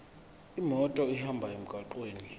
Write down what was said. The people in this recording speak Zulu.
imoto ihambe emgwaqweni